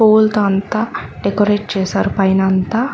పువ్వులతో అంతా డెకరేట్ చేశారు పైన అంతా.